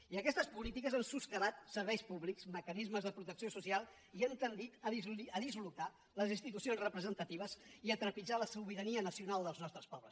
i aquestes polítiques han soscavat serveis públics mecanismes de protecció social i han tendit a dislocar les institucions representatives i a trepitjar la sobirania nacional dels nostres pobles